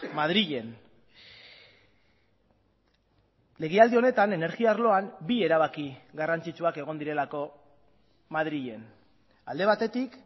madrilen legealdi honetan energia arloan bi erabaki garrantzitsuak egon direlako madrilen alde batetik